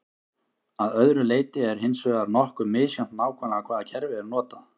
að öðru leyti er hins vegar nokkuð misjafnt nákvæmlega hvaða kerfi er notað